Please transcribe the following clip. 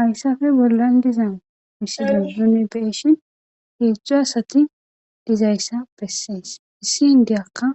Hayssafe bollan dizan misiyon zune beeshin heedzdzu asati dizayssa bessees issi hindeyakka